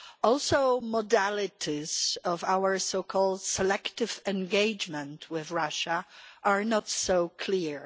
Also, the modalities of our so called selective engagement' with Russia are not so clear.